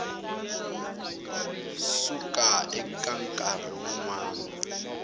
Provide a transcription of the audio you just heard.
suka eka nkarhi wun wana